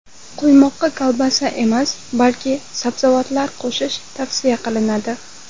Quymoqqa kolbasa emas, balki sabzavotlar qo‘shish tavsiya qilinadi.